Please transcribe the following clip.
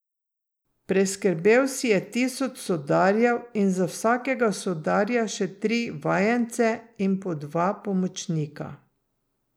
Preskrbel si je tisoč sodarjev in za vsakega sodarja še tri vajence in po dva pomočnika.